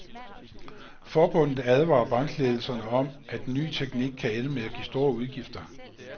Forbundet advarer bankledelserne om, at den nye teknik kan ende med at give store udgifter.